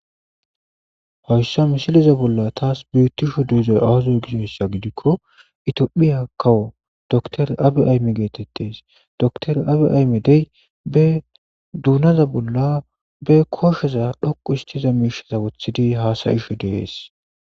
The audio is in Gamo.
hayssa misiliza bolla taas biittisho duuzay awazo gizsossa gidikko itiyophiya kawo dotor abiay geetettes dotor abi ayme dey be duunaza bolla be koshoza dhoqu istiza miishaza wothidi haasayisho dees